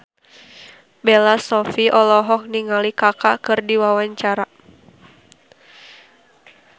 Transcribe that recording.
Bella Shofie olohok ningali Kaka keur diwawancara